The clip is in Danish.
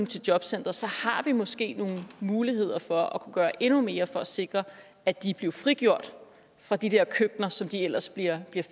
til jobcenteret har vi måske nogle muligheder for at kunne gøre endnu mere for at sikre at de bliver frigjort fra de der køkkener som de ellers bliver